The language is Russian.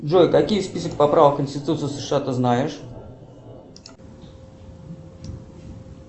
джой какие список поправок в конституцию сша ты знаешь